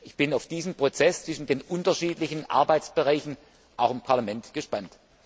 Ich bin auf diesen Prozess zwischen den unterschiedlichen Arbeitsbereichen auch im Parlament gespannt.